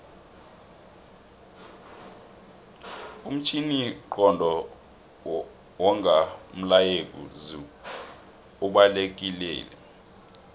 umtjhininqondo wonga umlayezu obalekilelo